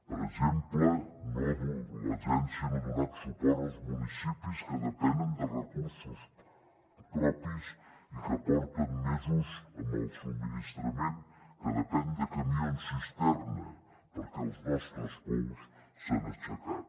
per exemple l’agència no ha donat suport als municipis que depenen de recursos propis i que porten mesos amb el subministrament que depèn de camions cisterna perquè els nostres pous s’han assecat